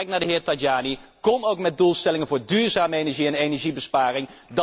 En ik kijk naar de heer Tajani kom ook met doelstellingen voor duurzame energie en energiebesparing.